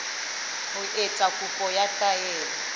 ho etsa kopo ya taelo